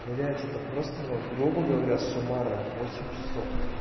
блядь это просто но грубо говоря суммарная восемь часов